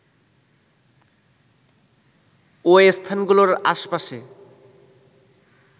ওই স্থানগুলোর আশপাশে